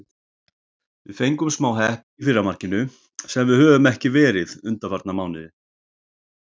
Við fengum smá heppni í fyrra markinu, sem við höfum ekki verið undanfarna mánuði.